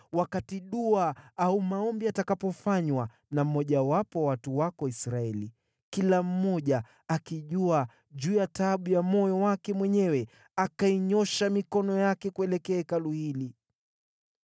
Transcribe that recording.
wakati dua au maombi yatakapofanywa na mmojawapo wa watu wako Israeli, kila mmoja akitambua taabu zake na uchungu wake, naye akainyoosha mikono yake kuelekea Hekalu hili,